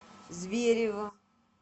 зверево